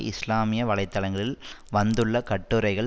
இஸ்லாமிய வலை தளங்களில் வந்துள்ள கட்டுரைகள்